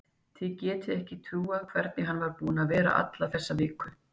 Þið getið ekki trúað hvernig hann er búinn að vera alla þessa viku.